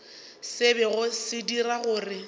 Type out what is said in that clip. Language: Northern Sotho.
se bego se dira gore